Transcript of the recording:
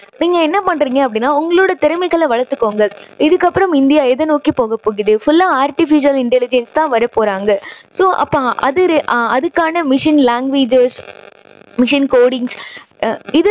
நீங்க என்ன பண்றீங்க அப்படின்னா உங்களோட திறமைகளை வளர்த்துக்கோங்க. இதுக்கு அப்புறம் இந்தியா எதை நோக்கி போகப் போகுது? full லா artificial intelligence தான் வரப் போறாங்க. so அப்போ அது அதுக்கான machine languages machine codings இது